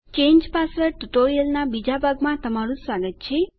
change password ટ્યુટોરીયલનાં બીજા ભાગમાં તમારું સ્વાગત છે